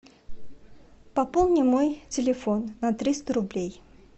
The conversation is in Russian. пополни мой телефон на триста рублей